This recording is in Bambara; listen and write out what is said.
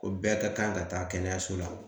Ko bɛɛ ka kan ka taa kɛnɛyaso la